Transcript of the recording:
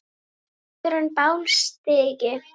áður á bál stigi